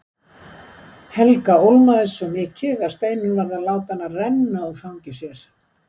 Helga ólmaðist svo mikið að Steinunn varð að láta hana renna úr fangi sér.